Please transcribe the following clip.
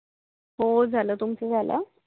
हो झाल तुमच झाल